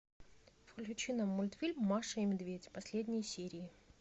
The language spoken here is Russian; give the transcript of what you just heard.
включи нам мультфильм маша и медведь последние серии